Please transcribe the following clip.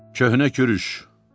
Köhnə kürüş.